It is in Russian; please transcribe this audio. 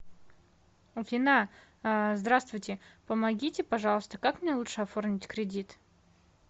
афина а здравствуйте помогите пожалуйста как мне лучше оформить кредит